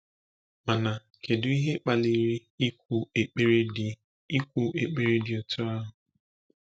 Mana kedu ihe kpaliri ikwu ekpere dị ikwu ekpere dị otú ahụ?